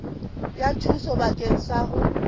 ya thuso bakeng sa ho